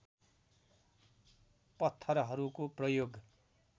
पत्थरहरूको प्रयोग